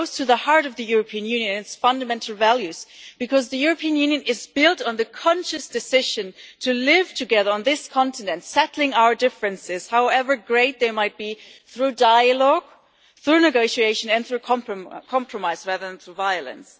It goes to the heart of the European Union's fundamental values because the European Union is built on the conscious decision to live together on this continent, settling our differences, however great they might be, through dialogue, through negotiation and through compromise rather than through violence.